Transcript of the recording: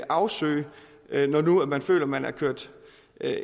afsøge når nu man føler man er kørt